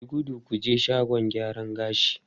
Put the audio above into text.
Yi gudu ku je shagon gyaran gashi!